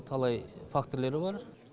талай факторлері бар